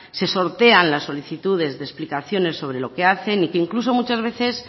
se sortean las solicitudes de explicaciones sobre lo que hacen y que incluso muchas veces